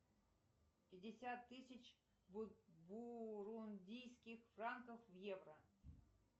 пятьдесят тысяч бурундийских франков в евро